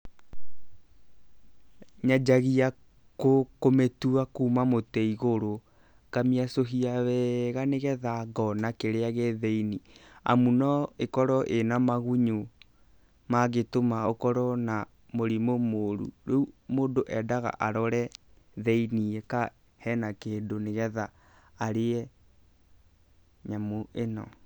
Nyanjagia kũmĩtua kuma mũtĩ igũrũ, ngamĩacũhia wega nĩ getha ngona kĩrĩa gĩ thĩiniĩ, amu no ĩkorwo ĩna magunyũ mangĩtũma ũkorwo na mũrimũ mũru. Rĩu mũndũ endaga arore thĩiniĩ kana hena kĩndũ nĩ getha arĩe nyamũ ĩno.